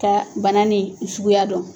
Ka bana nin suguya dɔn.